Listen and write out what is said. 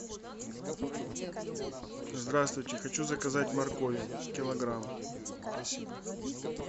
здравствуйте хочу заказать моркови килограмм спасибо